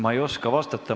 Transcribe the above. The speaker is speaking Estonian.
Ma ei oska vastata.